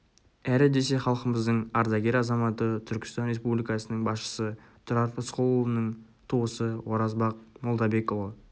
әрі десе халқымыздың ардагер азаматы түркістан республикасының басшысы тұрар рысқұлұлының туысы оразбақ молдабекұлы